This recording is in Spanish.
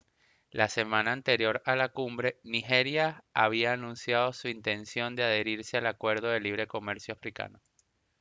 la semana anterior a la cumbre nigeria había anunciado su intención de adherirse al acuerdo de libre comercio africano